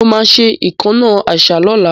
Mo máa ṣe ìkánná àṣá lọ́la